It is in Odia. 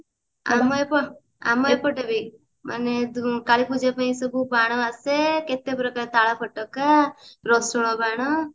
ଆମ ଏପ ଆମ ଏପଟେ ବି ମାନେ କାଳୀପୂଜା ପାଇଁ ସବୁ ବାଣ ଆସେ କେତେ ପ୍ରକାର ତାଳ ଫୋଟକା ରସୁଣ ବାଣ